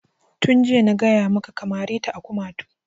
Tun jiya na gaya maka ka mare ta a hanu!